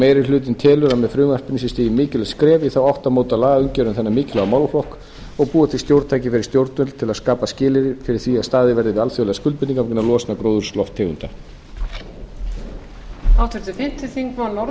meiri hlutinn telur að með frumvarpinu sé stigið mikilvægt skref í þá átt að móta lagaumgjörð um þennan mikilvæga málaflokk og búa til stjórntæki fyrir stjórnvöld til að skapa skilyrði fyrir því að staðið verði við alþjóðlegar skuldbindingar vegna losunar gróðurhúsalofttegunda